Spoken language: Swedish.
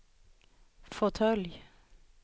fåtölj